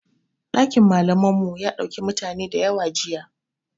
Ɗakin malaman mu ya ɗauki mutane dayawa jiya